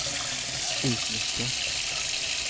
utnyttja